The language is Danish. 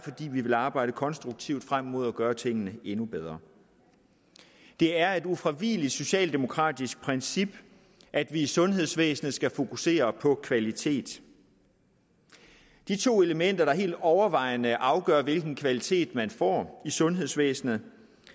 vil arbejde konstruktivt frem mod at gøre tingene endnu bedre det er et ufravigeligt socialdemokratisk princip at vi i sundhedsvæsenet skal fokusere på kvalitet de to elementer der helt overvejende afgør hvilken kvalitet man får i sundhedsvæsenet